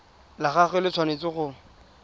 la gagwe le tshwanetse go